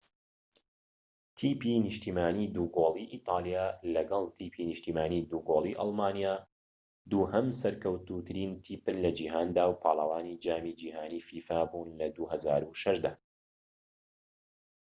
تیپی نیشتیمانیی دووگۆڵی ئیتاڵیا لەگەڵ تیپی نیشتیمانیی دووگۆڵی ئەڵمانیا دووهەم سەرکەوتووترین تیپن لە جیهاندا و پاڵەوانی جامی جیهانیی فیفا بوون لە ٢٠٠٦ دا